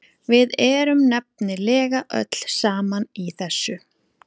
Við erum nefnilega öll saman í þessu.